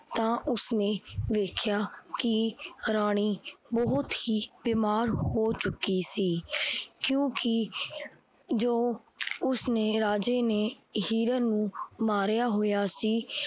ਤਾਂ ਉਸ ਨੇ ਵੇਖਿਆ ਕਿ ਰਾਣੀ ਬਹੁਤ ਹੀ ਬਿਮਾਰ ਹੋ ਚੁੱਕੀ ਸੀ। ਕਿਉਕਿ ਜੋ ਉਸਨੇ ਰਾਜੇ ਨੇ ਹਿਰਨ ਨੂ ਮਾਰਿਆ ਹੋਏਆ ਸੀ।